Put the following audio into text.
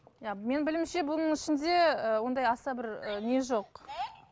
иә менің білуімше бұның ішінде ііі ондай аса бір ііі не жоқ